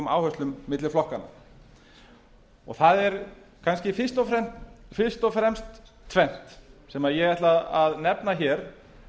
áherslum milli flokkanna það er kannski fyrst og breyst tvennt sem ég ætla að nefna hér